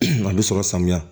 A bɛ sɔrɔ samiya